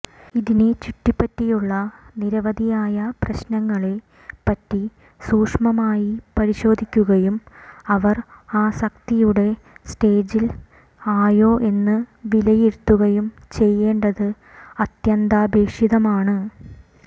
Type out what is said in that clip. ഇതിനെ ചുറ്റിപ്പറ്റിയുള്ള നിരവധിയായ പ്രശ്നങ്ങളെ പറ്റി സൂഷ്മമായി പരിശോധിക്കുകയും അവർ ആസക്തിയുടെ സ്റ്റേജിൽ ആയോ എന്ന് വിലയിരുത്തുകയും ചെയ്യേണ്ടത് അത്യന്താപേക്ഷിതമാണ്